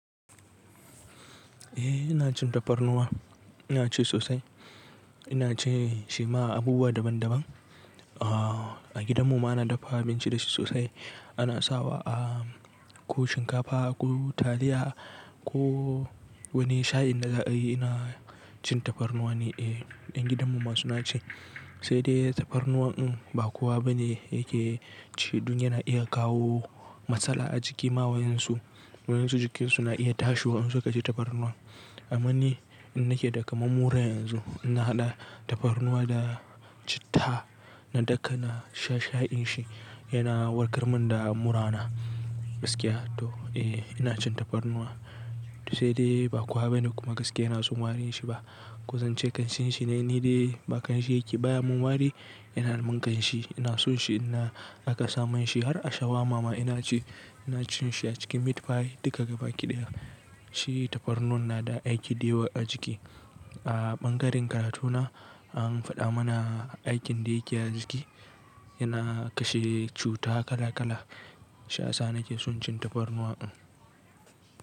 Eh ina cin tafarnuwa, ina ci sosai. Ina cin shi ma a abubuwa daban daban. A gidanmu ana dafa abinci da shi sosai. Ana sawa ko shinkafa ko taliya ko wani shayin na za'a yi na cin tafarnuwa ne. Eh, ƴan gidanmu ma suna ci. Sai dai tafarnuwa in ba kowa bane yake ci, don yana iya kawo matsala a jiki ma wayoyinsu. Wayoyinsu jikinsu na iya tashi waye suka ci tafarnuwa. Amma ni ina ke daka mammura yanzu, ina haɗa tafarnuwa da citta, na daka na sha shayin shi. Yana warkar mun da mura na gaskiya to eh ina cin tafarnuwa. Sai dai ba kowa bane kuma gaskiya na son warin shi ba. Ko zance kanshin shi ne ni dai ba kanshin yake baya mun wari, yana mun kanshi. Ina son shi ina aka samu shi har a shawar mama ina ci. Ina cin shi a cikin meat pie duka gaba ki ɗaya. Shi tafarnuwa na da aiki da yawa a jiki. A ɓangaren karatu na an faɗa mana aikin da yake a jiki, yana kashe cuta kala kala. Shiya sa ni ke son cin tafarnuwa.